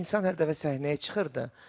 Bu insan hər dəfə səhnəyə çıxırdı.